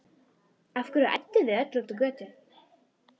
Af hverju ædduð þið öll út á götu?